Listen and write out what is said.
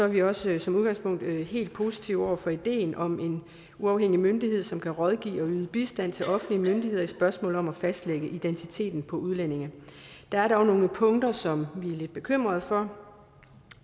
vi også som udgangspunkt helt positive over for ideen om en uafhængig myndighed som kan rådgive og yde bistand til offentlige myndigheder i spørgsmålet om at fastlægge identiteten på udlændinge der er dog nogle punkter som vi er lidt bekymrede for